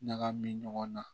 Ɲagami ɲɔgɔn na